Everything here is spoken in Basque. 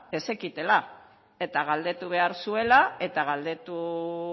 ez zekitela eta galdetu behar zuela eta galdetu